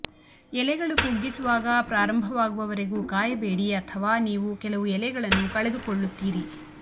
ಎಲೆಗಳು ಕುಗ್ಗಿಸುವಾಗ ಪ್ರಾರಂಭವಾಗುವವರೆಗೂ ಕಾಯಬೇಡಿ ಅಥವಾ ನೀವು ಕೆಲವು ಎಲೆಗಳನ್ನು ಕಳೆದುಕೊಳ್ಳುತ್ತೀರಿ